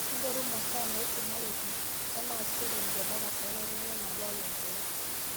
Inchoru masaa naisumareki, oonaasishoreki te darasa, olaiteng'enak olaikook.